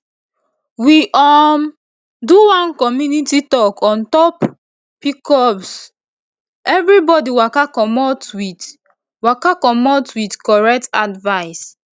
we um do one community talk on top pcoseverybody waka commot with waka commot with correct advice